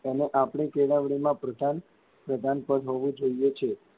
તેને આપની કેળવણીમાં પ્રથમ પ્રધાન પદ હોવું જોઇયે છે.